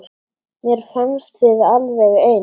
Mér fannst þið alveg eins.